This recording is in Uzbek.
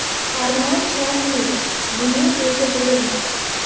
Arnold Shvarsenegger: Buni o‘lja deyilmaydi!.